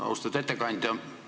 Austatud ettekandja!